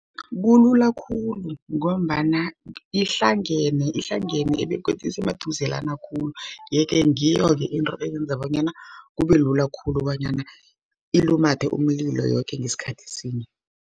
Kulula khulu, ngombana ihlangene begodu isemaduzelana khulu. Yeke ngiyoke into eyenza bonyana kube lula khulu, bonyana ilumathe umlilo yoke ngasikhathi sinye.